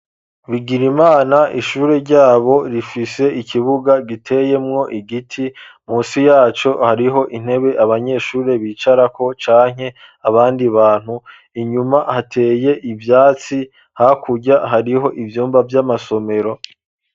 Bigiraimana ishure ryabo rifise ikibuga giteyemwo igiti, munsi yaco hariho intebe abanyeshuri bicarako canke abandi bantu, inyuma hateye ivyatsi, hakurya hariho ivyumba vy'amasomero.